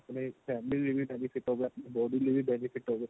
ਆਪਣੇ family ਲਈ ਵੀ benefit ਹੋਵੇ ਆਪਣੀ body ਲਈ ਵੀ benefit ਹੋਵੇ